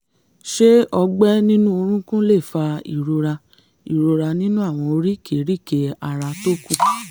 ṣé ọgbẹ́ nínú orúnkún lè fa ìrora ìrora nínú àwọn oríkèé-ríkèé ara tó kù?